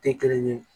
Tɛ kelen ye